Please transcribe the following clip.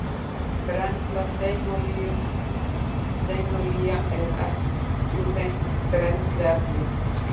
Brennsla steinolíu Steinolía er ekki hreint brennsluefni.